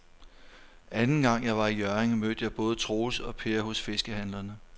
Anden gang jeg var i Hjørring, mødte jeg både Troels og Per hos fiskehandlerne.